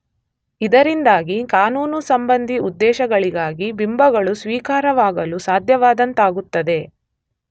ಇದರಿಂದಾಗಿ ಕಾನೂನು ಸಂಬಂಧಿ ಉದ್ದೇಶಗಳಿಗಾಗಿ ಬಿಂಬಗಳು ಸ್ವೀಕಾರಾರ್ಹವಾಗಲು ಸಾಧ್ಯವಾದಂತಾಗುತ್ತದೆ.